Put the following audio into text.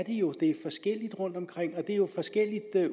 jo det er forskelligt rundtomkring det er jo forskellige